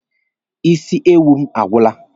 Isi ewu m agwụla.